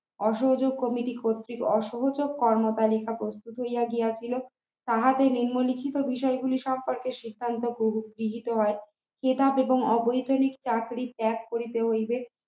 অসহযোগ committee কর্তৃক অসহযোগ কর্ম পন্থা প্রস্তুতি নিয়ে রাখিল তাহাতে নিম্নলিখিত বিষয়গুলি সম্পর্কে শিক্ষায়ত প্রযুক্তি setup এবং অবৈতনিক চাকরি ত্যাগ করিতে হইবে